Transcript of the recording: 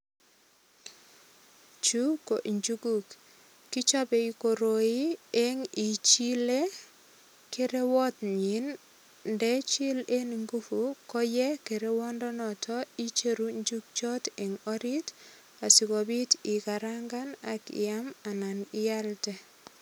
Chu ko injuguk, kichape koroi eng ichile kerewotnyin. Ndechil en nguvu koye kerewondenoto icheru injugchot eng orit asigopit igarangan ak iyam anan iaelde.